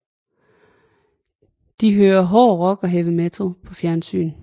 De hører hård rock og heavy metal på fjernsyn